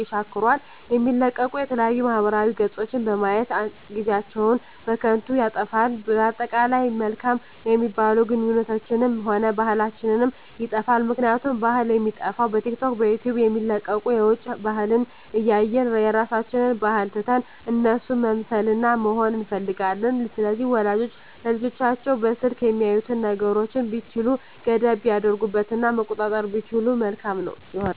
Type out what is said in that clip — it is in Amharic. የሻክራል የሚለቀቁ የተለያዩ ማህበራዊ ገፆችን በማየት ጊዜአችን በከንቱ ይጠፋል በአጠቃላይ መልካም የሚባሉ ግንኙነታችንንም ሆነ ባህላችንንም ይጠፋል ምክንያቱም ባህል የሚጠፋዉ በቲክቶክ በዩቲዩብ የሚለቀቁትን የዉጭ ባህልን እያየን የራሳችንን ባህል ትተን እነሱን መምሰልና መሆን እንፈልጋለን ስለዚህ ወላጆች ለልጆቻቸዉ በስልክ የሚያዩትን ነገሮች ቢቻል ገደብ ቢያደርጉበት እና መቆጣጠር ቢችሉ መልካም ይሆናል